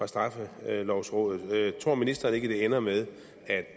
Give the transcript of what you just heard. straffelovrådet tror ministeren ikke at det ender med at